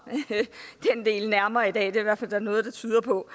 den del nærmere i dag det er hvert fald noget der tyder på